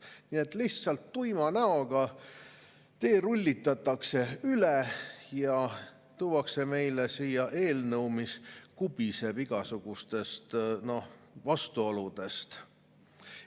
Nii et lihtsalt tuima näoga teerullitatakse üle ja tuuakse meile siia eelnõu, mis kubiseb igasugustest vastuoludest.